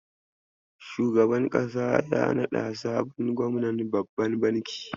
Shugaban ƙasa ya naɗa sabon gwamnan babban banki.